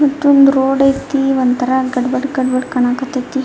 ಮತ್ತೊಂದ್ ರೋಡ್ ಆಯ್ತಿ ಒಂದ್ ತರ ಗಡ್ ಬಡ ಗಡ್ ಬಡ ಕಾಣಕತ್ತತಿ.